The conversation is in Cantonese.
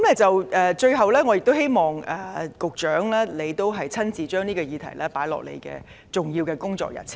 最後，我希望局長把這項議題列入重要的工作日程。